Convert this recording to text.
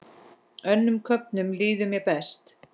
Önnum köfnum líður mér best.